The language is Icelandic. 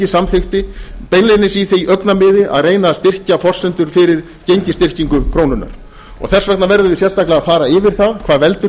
samþykkti beinlínis í því augnamiði að reyna að styrkja forsendur fyrir gengisstyrkingu krónunnar þess vegna verðum við sérstaklega að fara yfir það hvað veldur